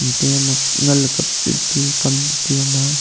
diam mak nganley kap tiu kam chitiu ama a.